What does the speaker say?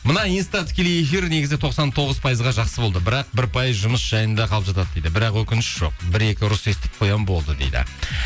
мына инста тікелей эфир негізі тоқсан тоғыз пайызға жақсы болды бірақ бір пайыз жұмыс жайында қалып жатады дейді бірақ өкініш жоқ бір екі ұрыс естіп қоямын болды дейді